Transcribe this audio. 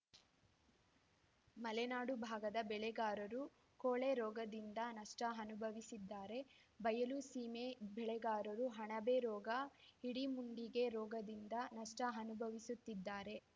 ಮಲೆನಾಡು ಭಾಗದ ಬೆಳೆಗಾರರು ಕೊಳೆ ರೋಗದಿಂದ ನಷ್ಟಅನುಭವಿಸಿದ್ದಾರೆ ಬಯಲು ಸೀಮೆ ಬೆಳೆಗಾರರು ಅಣಬೆ ರೋಗ ಹಿಡಿಮುಂಡಿಗೆ ರೋಗದಿಂದ ನಷ್ಟಅನುಭವಿಸುತ್ತಿದ್ದಾರೆ